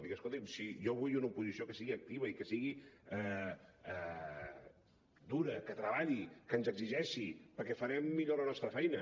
dic escolti’m si jo vull una oposició que sigui activa i que sigui dura que treballi que ens exigeixi perquè farem millor la nostra feina